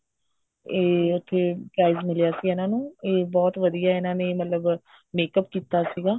ਇਹ ਉੱਥੇ prize ਮਿਲਿਆ ਸੀ ਇਹਨਾ ਨੂੰ ਇਹ ਬਹੁਤ ਵਧੀਆ ਇਹਨਾ ਨੇ ਮਤਲਬ makeup ਕੀਤਾ ਸੀਗਾ